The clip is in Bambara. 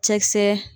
Cɛkisɛ